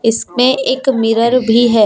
इसमें एक मिरर भी है।